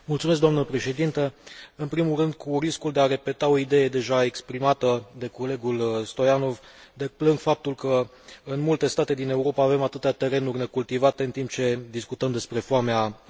În primul rând, cu riscul de a repeta o idee deja exprimată de colegul Stoianov, deplâng faptul că în multe state din Europa avem atâtea terenuri necultivate, în timp ce discutăm despre foamea în lume.